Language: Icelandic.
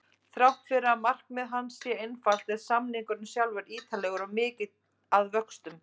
Þrátt fyrir að markmið hans sé einfalt er samningurinn sjálfur ítarlegur og mikill að vöxtum.